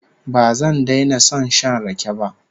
Ba zan daina son shan rake ba